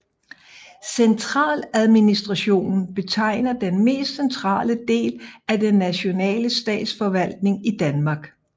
Centraladministrationen betegner den mest centrale del af den nationale statsforvaltning i Danmark